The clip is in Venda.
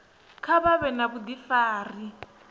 kha vha vhe na vhudifari